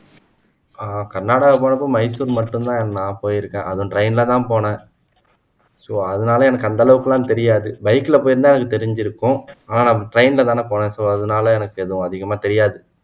கர்நாடகா போனப்போ மைசூர் மட்டும் தான் நான் போயிருக்கேன் அதுவும் train ல தான் போனேன் அதனால எனக்கு அந்த அளவுக்கு எல்லாம் தெரியாது bike ல போயிருந்தால் எனக்கு தெரிஞ்சிருக்கும் ஆனா நான் train ல தானே போனேன் so அதனால எனக்கு எதுவும் அதிகமா தெரியாது